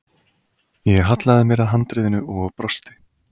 Ég hallaði mér að handriðinu og brosti.